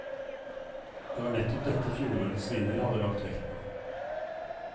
Det var nettopp dette fjorårets vinner hadde lagt vekt på.